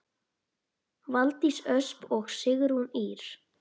Valdís Ösp og Sigrún Ýr.